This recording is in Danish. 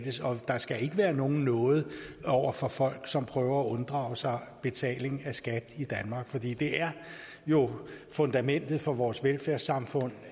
og der skal ikke være nogen nåde over for folk som prøver at unddrage sig betaling af skat i danmark for det er jo fundamentet for vores velfærdssamfund